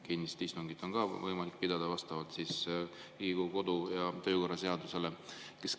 Kinnist istungit on võimalik pidada vastavalt Riigikogu kodu‑ ja töökorra seadusele.